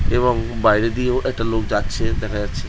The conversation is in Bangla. এবং বাইরে দিয়েও একটা লোক যাচ্ছে দেখা যাচ্ছে।